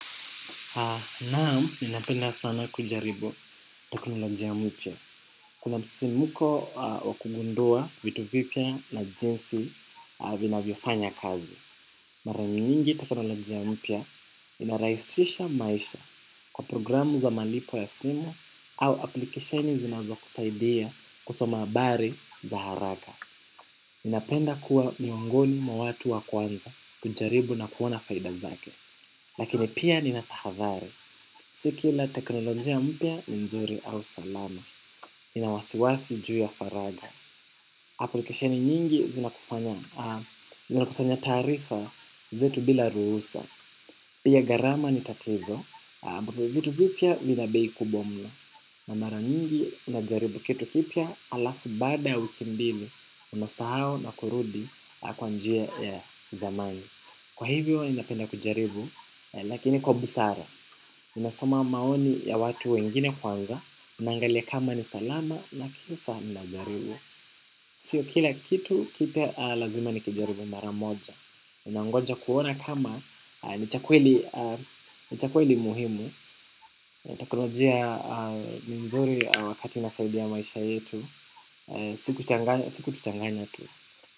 Naam, ninapenda sana kujaribu teknolojia mpya. Kuna msisimko wa kugundua vitu vipya na jinsi vinavyofanya kazi. Mara nyingi teknolojia mpya inarahisisha maisha kwa programu za malipo ya simu au apulikesheni zinazokusaidia kusoma habari za haraka. Ninapenda kuwa miongoni mwa watu wa kwanza kujaribu na kuona faida zake. Lakini pia ninatahadhari, si kila teknolojia mpya ni mzuri au salama. Nina wasiwasi juu ya faragha. Apulikesheni nyingi zinakusanya taarifa zetu bila ruhusa. Pia gharama ni tatizo bado vitu vipya vina bei kubwa mno. Na mara nyingi unajaribu kitu kipya halafu baada ya wiki mbili unasahau na kurudi kwa njia ya zamani. Kwa hivyo ninapenda kujaribu lakini kwa busara, ninasoma maoni ya watu wengine kwanza ninaangalia kama ni salama na kisha nitajaribu. Sio kila kitu, kipya lazima nikijaribu mara moja nangoja kuona kama ni cha kweli muhimu. Teknolojia ni mzuri inasaidia maisha yetu, si kutuchanganya tu.